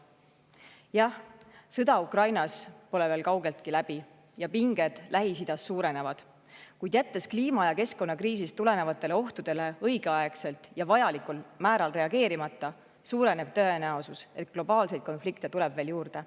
Jah, sõda Ukrainas pole veel kaugeltki läbi ja pinged Lähis-Idas suurenevad, kuid jättes kliima‑ ja keskkonnakriisist tulenevatele ohtudele õigeaegselt ja vajalikul määral reageerimata, suureneb tõenäosus, et globaalseid konflikte tuleb veel juurde.